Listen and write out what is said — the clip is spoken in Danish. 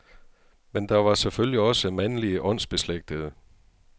Men der var selvfølgelig også mandlige åndsbeslægtede.